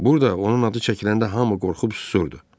Burda onun adı çəkiləndə hamı qorxub susurdu.